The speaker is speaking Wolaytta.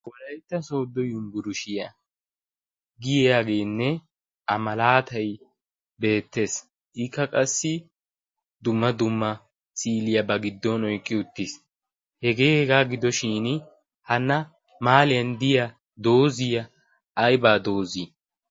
wolaytta sooddo yunburishiyaa giyaageenne a malaatay beettees iikka qassi dumma dumma siiliyaabaa giddon oiqqi uttiis hegee hegaa gidoshin hana maaliyan diya dooziya aybaa doozii?